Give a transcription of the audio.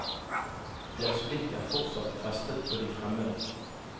Deres blikk er fortsatt festet på de fremmede.